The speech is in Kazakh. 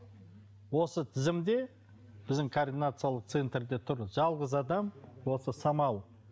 осы тізімде біздің координациялық центрде тұр жалғыз адам осы самал